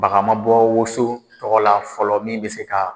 Baga ma bɔ woso tɔgɔ la fɔlɔ min bɛ se ka